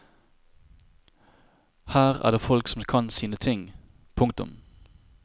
Her er det folk som kan sine ting. punktum